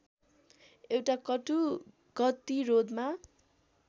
एउटा कटु गतिरोधमा